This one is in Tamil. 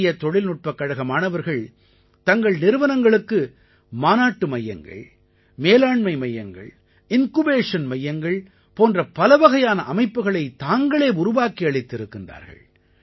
இந்தியத் தொழில்நுட்பக் கழக மாணவர்கள் தங்கள் நிறுவனங்களுக்கு மாநாட்டு மையங்கள் மேலாண்மை மையங்கள் இன்குபேஷன் மையங்கள் போன்ற பலவகையான அமைப்புக்களைத் தாங்களே உருவாக்கி அளித்திருக்கின்றார்கள்